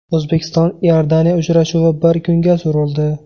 O‘zbekiston Iordaniya uchrashuvi bir kunga surildi.